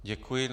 Děkuji.